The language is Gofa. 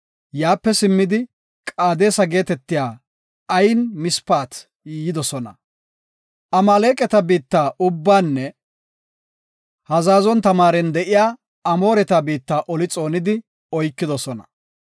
Yaape simmidi, Qaadesa geetetiya Ayin Mispata yidosona. Amaaleqata biitta ubbanne Hazazon Tamaaren de7iya Amooreta biitta oli xoonidi oykidosona.